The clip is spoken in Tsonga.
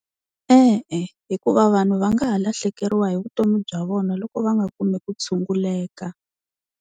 E-e hikuva vanhu va nga ha lahlekeriwa hi vutomi bya vona loko va nga kumi ku tshunguleka.